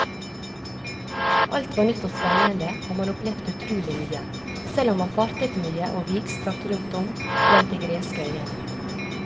Alt var nytt og spennende og man opplevde utrolig mye, selv om man fartet mye og vidstrakt rundt om blant de greske øyene.